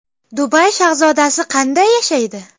Dubay shahzodasi qanday yashaydi?